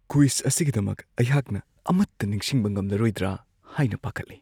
Quiz ꯑꯁꯤꯒꯤꯗꯃꯛ ꯑꯩꯍꯥꯛꯅ ꯑꯃꯠꯇ ꯅꯤꯡꯁꯤꯡꯕ ꯉꯝꯂꯔꯣꯏꯗ꯭ꯔꯥ ꯍꯥꯏꯅ ꯄꯥꯈꯠꯂꯤ ꯫